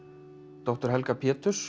doktor Helga